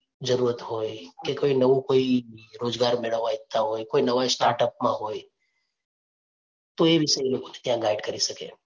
જરૂરત હોય કે કોઈ નવું કોઈ રોજગાર મેળવવા ઇચ્છતા હોય, કોઈ નવા start up માં હોય તો એ વિશે એ લોકો ને ત્યાં guide કરી શકે.